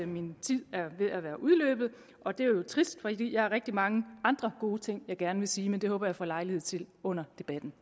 min tid er ved at være udløbet og det er jo trist for jeg har rigtig mange andre gode ting jeg gerne vil sige men det håber jeg at få lejlighed til under debatten